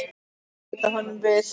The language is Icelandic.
Þú mátt bæta honum við.